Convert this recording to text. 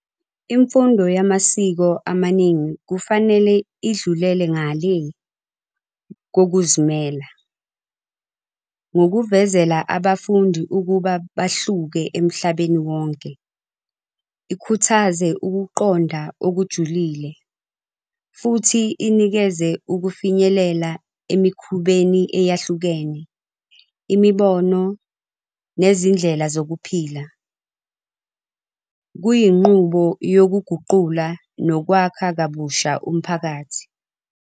Imfundo yamasiko amaningi kufanele idlulele ngalé kokuzimela, ngokuvezela abafundi ukuba bahluke emhlabeni wonke, ikhuthaze ukuqonda okujulile, futhi inikeze ukufinyelela emikhubeni eyahlukene, imibono, nezindlela zokuphila, kuyinqubo yokuguqula nokwakha kabusha umphakathi.